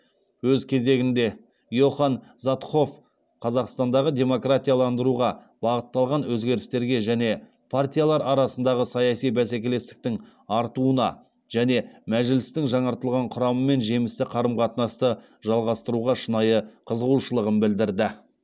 өз кезегінде йоханн заатхофф қазақстандағы демократияландыруға бағытталған өзгерістерге және партиялар арасындағы саяси бәсекелестіктің артуына және мәжілістің жаңартылған құрамымен жемісті қарым қатынасты жалғастыруға шынайы қызығушылығын білдірді